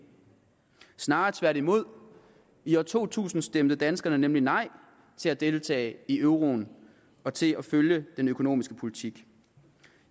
snarere tværtimod i år to tusind stemte danskerne nemlig nej til at deltage i euroen og til at følge den økonomiske politik